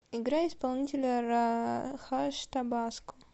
играй исполнителя ра хаш табаско